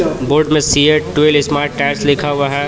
Board मे CEAT dual smart tyres लिखा हुआ हे.